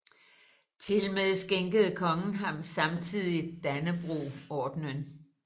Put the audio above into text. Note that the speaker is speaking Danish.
Tilmed skænkede kongen ham samtidig Dannebrogordenen